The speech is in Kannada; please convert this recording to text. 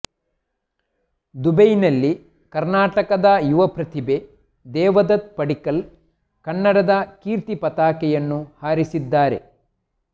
ದುಬೈನಲ್ಲಿ ಕರ್ನಾಟಕದ ಯುವ ಪ್ರತಿಭೆ ದೇವದತ್ ಪಡಿಕ್ಕಲ್ ಕನ್ನಡದ ಕೀರ್ತಿ ಪತಾಕೆಯನ್ನು ಹಾರಿಸಿದ್ದಾರೆ